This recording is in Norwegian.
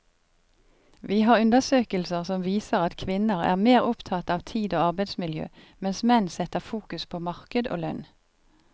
Vi har undersøkelser som viser at kvinner er mer opptatt av tid og arbeidsmiljø, mens menn setter fokus på marked og lønn.